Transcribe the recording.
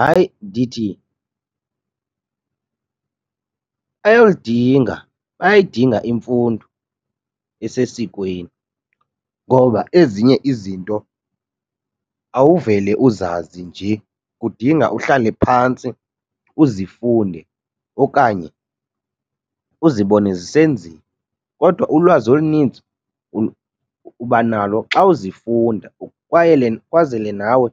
Hayi, ndithi ayolidinga, bayayidinga imfundo esesikweni ngoba ezinye izinto awuvele uzazi njee, kudinga uhlale phantsi uzifunde okanye uzibone zisenziwa. Kodwa ulwazi olunintsi uba nalo xa uzifunda kwaye kwazele nawe